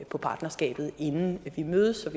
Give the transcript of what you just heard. på partnerskabet inden vi mødes